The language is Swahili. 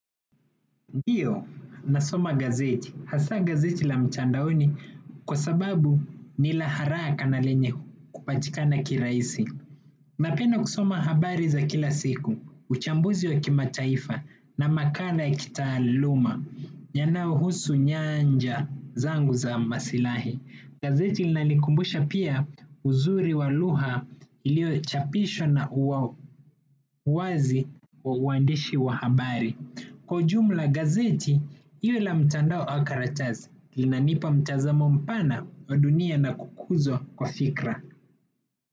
Ndio, nasoma gazeti. Hasa gazeti la mtandaoni kwa sababu ni la haraka na lenye kupatikana kirahisi. Napenda kusoma habari za kila siku uchambuzi wa kimataifa na makala ya kitaaluma yanayo husu nyanja zangu za maslahi. Gazeti linanikumbusha pia uzuri wa lugha ilio chapishwa na uwazi wa uwandishi wa habari. Kwa ujumla gazeti, iwe la mtandao au karatazi, linanipa mtazamo mpana wa dunia na kukuzo kwa fikra.